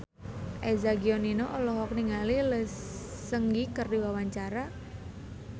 Eza Gionino olohok ningali Lee Seung Gi keur diwawancara